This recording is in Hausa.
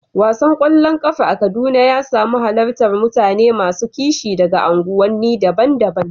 Wasan ƙwallon ƙafa a Kaduna ya samu halartar mutane masu kishi daga unguwanni daban-daban.